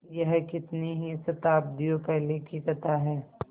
यह कितनी ही शताब्दियों पहले की कथा है